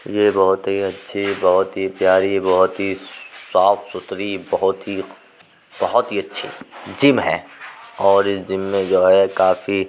ये बहुत ही अच्छी बहुत ही प्यारी बहुत ही साफ सुथरी बहुत ही बहुत ही अच्छी जिम है और इस जिम में जो है काफी --